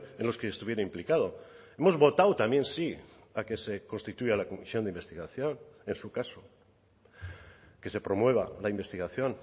en los que estuviera implicado hemos votado también sí a que se constituya la comisión de investigación en su caso que se promueva la investigación